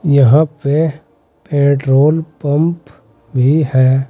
यहां पे petrol pump भी है।